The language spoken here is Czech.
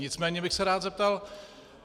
Nicméně bych se rád zeptal.